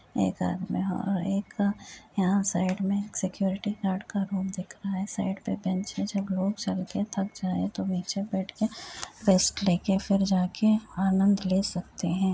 एक है और एक - क यहाँ साइड में एक सिक्योरिटी गार्ड का रूम दिख रहा है। साइड पे बेंच है। जब लोग चल के थक जायें तो नीचे बैठ के रेस्ट ले के फिर जा के आनंद ले सकतें हैं।